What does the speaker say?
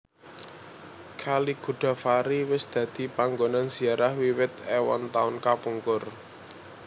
Kali Godavari wis dadi panggonan ziarah wiwit èwon taun kapungkur